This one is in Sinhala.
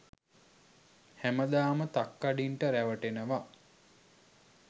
හැමදාම තක්කඩින්ට රැවටෙනව.